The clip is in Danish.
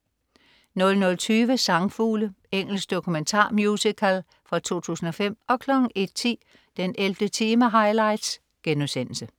00.20 Sangfugle. Engelsk dokumentar-musical fra 2005 01.10 den 11. time highlights*